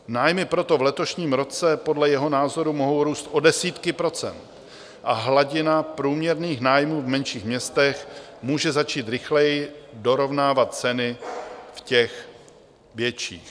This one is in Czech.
Nájmy proto v letošním roce podle jeho názoru mohou růst o desítky procent a hladina průměrných nájmů v menších sídlech může začít rychleji dorovnávat ceny v těch větších.